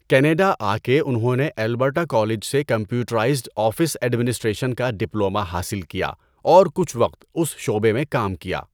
Canada آ کے انہوں نے البرٹا کالج سے کمپیوٹرائزڈ آفس ایڈمنسٹریشن کا ڈپلوما حاصل کیا اور کچھ وقت اس شعبے میں کام کیا۔